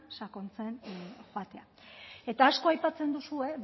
sakontzen joatea eta asko aipatzen duzue